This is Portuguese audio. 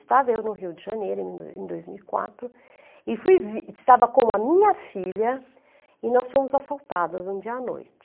Estava eu no Rio de Janeiro em dois em dois mil e quatro e fui vi, estava com a minha filha e nós fomos assaltadas um dia à noite.